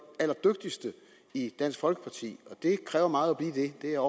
allerdygtigste i dansk folkeparti og det kræver meget at blive det det er